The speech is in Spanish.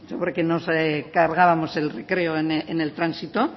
porque nos cargábamos el recreo en el tránsito